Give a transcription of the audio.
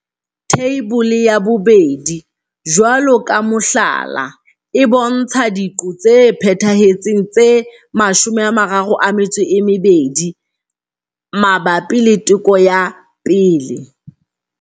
Theibole ya 2 jwalo ka mohlala, e bontsha diqo tse phethahetseng tse 32 mabapi le Teko ya 1.